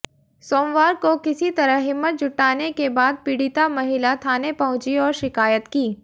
सोमवार को किसी तरह हिम्मत जुटाने के बाद पीडि़ता महिला थाने पहुंची और शिकायत की